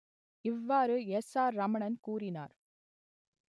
இவ்வாறு S R Ramanan கூறினார்